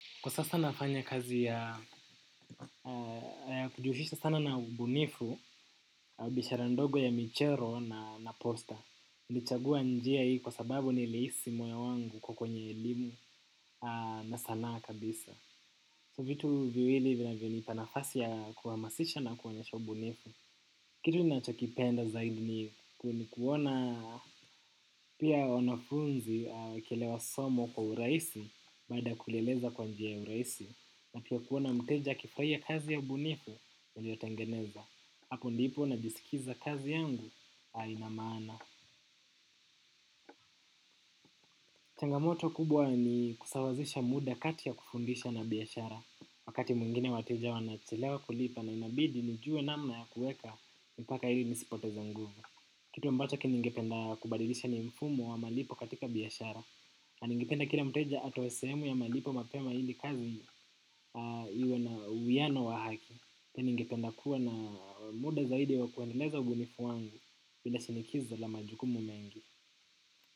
Kwa sasa nafanya kazi ya kujuhisha sana na ubunifu, na biashara ndogo ya michero na naposta. Nilichagua njia hii kwa sababu ni lihisi moyo wangu uko kwenye elimu na sanaa kabisa. So vitu viwili vinaviyonipa nafasi ya kuamasisha na kuonyesha ubunifu. Kitu nacho kipenda zaidi ni kuona pia wanafunzi wakilewa somo kwa uraisi baada ya kulieleza kwa njia uraisi. Na kia kuona mteja akifraia kazi ya ubunifu, nilio tengeneza. Hapo ndipo na jisikiza kazi yangu, hainamaana. Changamoto kubwa ni kusawazisha muda kati ya kufundisha na biashara. Wakati mwingine wateja wanachelewa kulipa na inabidi nijue na mna ya kueka mpaka ili nisipoteza nguvu. Kitu ambachk kinigependa kubadilisha ni mfumo wa malipo katika biashara na ningependa kila mteja atoe sehemu ya malipo mapema ili kazi iwe na uwiano wa haki. Ningependa kuwa na muda zaidi wa kueneleza ubunifu wangu. Bila sinikiza la majuku mumengi.